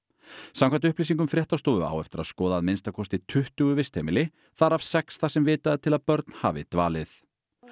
samkvæmt upplýsingum fréttastofu á eftir að skoða að minnsta kosti tuttugu vistheimili þar af sex þar sem vitað er til að börn hafi dvalið